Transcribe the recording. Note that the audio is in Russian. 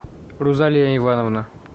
рузалия ивановна